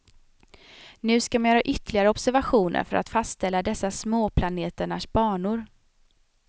Nu skall man göra ytterligare observationer för att fastställa dessa småplaneternas banor.